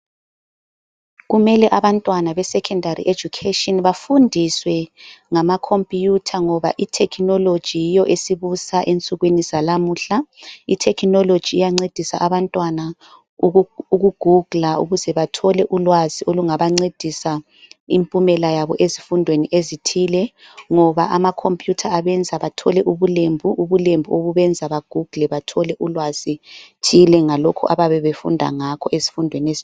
kumele abantwana be secondary education bafundiswe ngama computer ngoba i technology yiyo esibusa ensukwini zalamuhla i technology iyancedisa bantwana uku googler ukuze bathole ulwazi olungabancedisa impumela yabo ezifundweni ezithile ngoba ama computer abenza bathole ubulembu ubulembu obubenza ba google bathole ulwazi thile ngalokhu ababebefunda ngakho ezifundweni